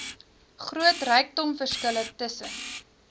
groot rykdomverskille tussen